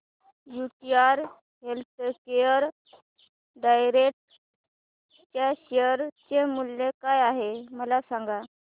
UTI healthcare direct च्या share चे मूल्य काय आहे मला सांगा